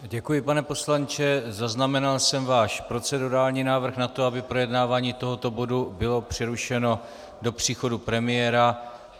Děkuji, pane poslanče, zaznamenal jsem váš procedurální návrh na to, aby projednávání tohoto bodu bylo přerušeno do příchodu premiéra.